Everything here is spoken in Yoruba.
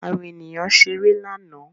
Àwọn ènìyàn ṣeré lánàá